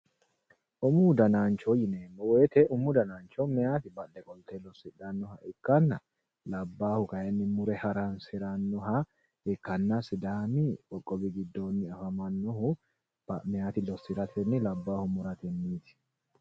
Umu dannancho yineemmo woyte maayati badhe qolte losidhanoha ikkanna labbahu kayinni mure haransiranoha ikkanna sidaami giddo rooru maayiti losiratenni labbahu muratenniti.